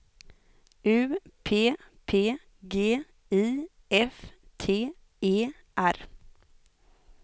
U P P G I F T E R